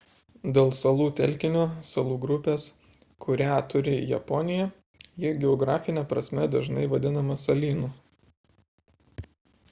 dėl salų telkinio / salų grupės kurią turi japonija ji geografine prasme dažnai vadinama salynu